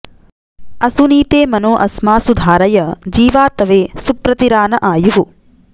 असुनीते मनो अस्मासु धारय जीवातवे सु प्र तिरा न आयुः